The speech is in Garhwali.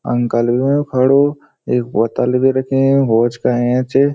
अंकल भी हुयुं खडू एक बोतल भी रखीं होज काे अयां च।